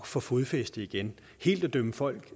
få fodfæste igen helt at dømme folk